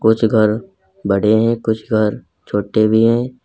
कुछ घर बड़े हैं कुछ घर छोटे हैं।